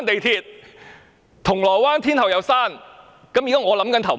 銅鑼灣站、天后站一併關閉？